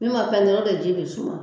Min ma pɛntiri o de ji bɛ suma